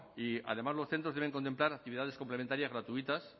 y además los centros deben contemplar actividades complementarias gratuitas